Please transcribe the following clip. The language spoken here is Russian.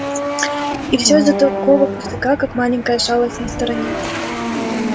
и всё из-за такого пустяка как маленькая шалость на стороне